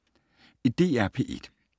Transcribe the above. DR P1